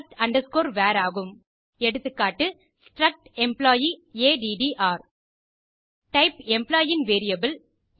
struct var ஆகும் எகா struct employee ATTR type employee ன் வேரியபிள்